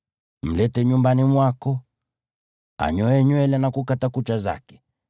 Mlete nyumbani mwako, anyoe nywele na kukata kucha zake,